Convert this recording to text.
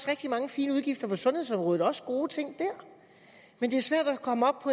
rigtig mange fine udgifter på sundhedsområdet og også gode ting der men det er svært at komme op